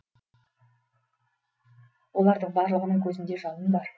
олардың барлығының көзінде жалын бар